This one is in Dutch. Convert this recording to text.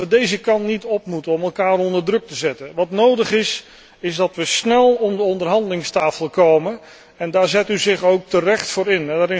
Ik denk dat we deze kant niet op moeten om elkaar onder druk te zetten. Wat nodig is, is dat we snel om de onderhandelingstafel komen en daar zet u zich ook terecht voor in.